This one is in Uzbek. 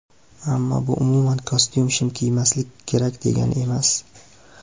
Ammo bu umuman kostyum-shim kiymaslik kerak degani emas.